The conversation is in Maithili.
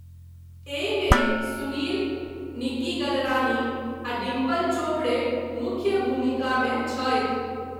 एहिमे सुनील, निक्की गलरानी आ डिम्पल चोपड़े मुख्य भूमिकामे छथि।